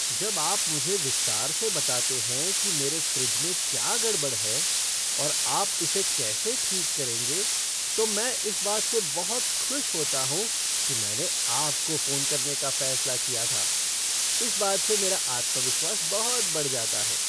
जब आप मुझे विस्तार से बताते हैं कि मेरे फ़्रिज में क्या गड़बड़ है और आप इसे कैसे ठीक करेंगे तो मैं इस बात से बहुत खुश होता हूँ कि मैंने आपको फ़ोन करने का फैसला किया था। इस बात से मेरा आत्मविश्वास बहुत बढ़ जाता है।